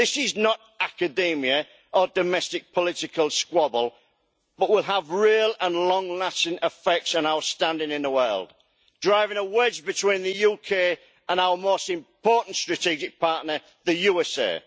This is not academia or a domestic political squabble, but will have real and long lasting effects on our standing in the world, driving a wedge between the UK and our most important strategic partner, the USA.